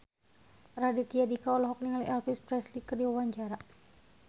Raditya Dika olohok ningali Elvis Presley keur diwawancara